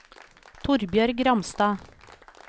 Torbjørg Ramstad